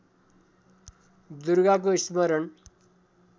दुर्गाको स्मरण